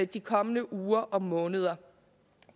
de kommende uger og måneder